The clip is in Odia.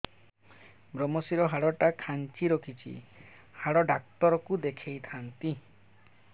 ଵ୍ରମଶିର ହାଡ଼ ଟା ଖାନ୍ଚି ରଖିଛି ହାଡ଼ ଡାକ୍ତର କୁ ଦେଖିଥାନ୍ତି